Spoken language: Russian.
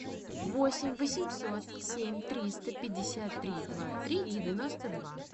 восемь восемьсот семь триста пятьдесят три два три девяносто два